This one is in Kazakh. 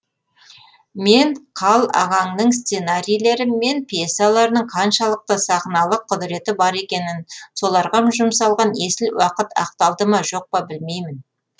мен қал ағаңның сценарийлері мен пьесаларының қаншалықты сахналық құдіреті бар екенін соларға жұмсалған есіл уақыт ақталды ма жоқ па білмеймін